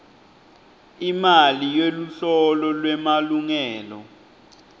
imali yeluhlolo lwemalungelo